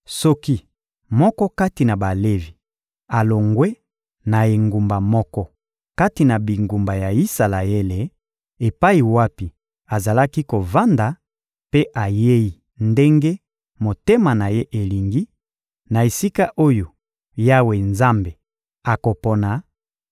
Soki moko kati na Balevi alongwe na engumba moko kati na bingumba ya Isalaele epai wapi azalaki kovanda, mpe ayei ndenge motema na ye elingi, na esika oyo Yawe Nzambe akopona;